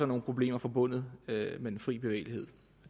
nogle problemer forbundet med den frie bevægelighed